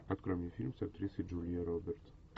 открой мне фильм с актрисой джулией робертс